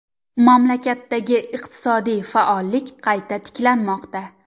Mamlakatdagi iqtisodiy faollik qayta tiklanmoqda .